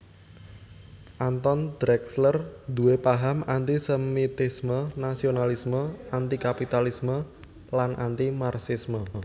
Anton Drexler nduwé paham anti sémitisme nasionalisme anti kapitalisme lan anti Marxisme